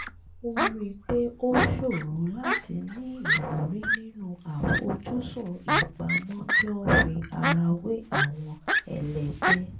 ó rí i pé ó ṣòro láti ní ìwúrí nínú àfojúsùn ìpamọ́ tí ó ń fi ara wé àwọn ẹlẹgbẹ́